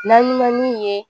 N'an ɲinɛn'u ye